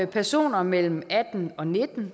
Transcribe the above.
personer mellem atten og nitten